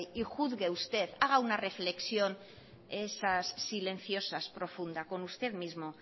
y juzgue usted haga una reflexión de esas silenciosas profundas con usted mismo